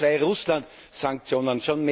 Punkt Nummer 2 Russlandsanktionen.